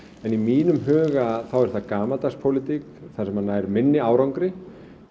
en í mínum huga er það gamaldags pólitík þar sem maður nær minni árangri